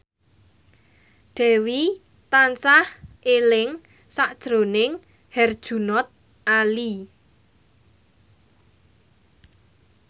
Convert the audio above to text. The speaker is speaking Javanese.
Dewi tansah eling sakjroning Herjunot Ali